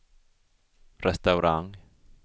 restaurang